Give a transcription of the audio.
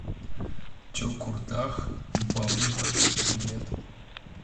чокурдах балык билет